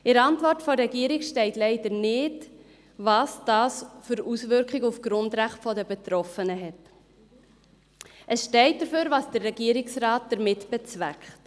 In der Antwort der Regierung steht leider nicht, welche Auswirkungen dies auf die Grundrechte der Betroffenen hat, dafür aber, was der Regierungsrat damit bezweckt.